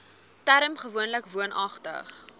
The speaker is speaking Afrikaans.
term gewoonlik woonagtig